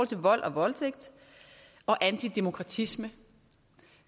til vold og voldtægt og antidemokratisme